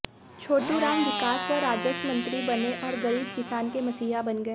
छोटूराम विकास व राजस्व मंत्री बने और गरीब किसान के मसीहा बन गए